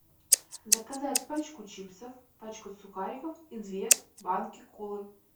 заказать пачку чипсов пачку сухариков и две банки колы